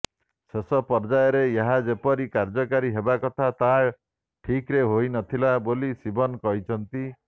ଶେଷ ପର୍ଯ୍ୟାୟରେ ଏହା ଯେପରି କାର୍ଯ୍ୟକାରୀ ହେବାକଥା ତାହା ଠିକ୍ରେ ହୋଇନଥିଲା ବୋଲି ଶିବନ୍ କହିଛନ୍ତି